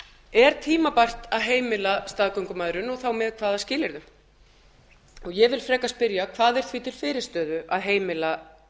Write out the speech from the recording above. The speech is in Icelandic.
er tímabært að heimila staðgöngumæðrun og þá með hvaða skilyrðum ég vil frekar spyrja hvað er því til fyrirstöðu að heimila